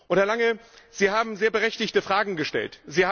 Herr Lange, Sie haben sehr berechtigte Fragen gestellt.